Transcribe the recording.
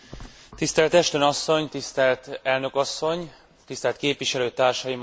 Tisztelt Ashton asszony, tisztelt elnök asszony, tisztelt képviselőtársaim!